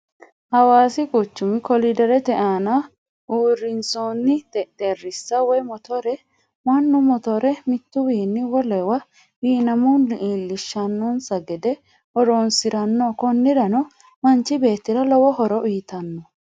Hawassi quchumi koliderete aanna uurinsoonni xexereessa woyi motore, manu motore mituwinni wolewa wiinamunni iillishano'nsa gede horonsiranno konirano manchi beetira lowo horo uuyitano